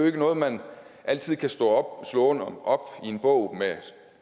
ikke noget man altid kan slå slå op i en bog med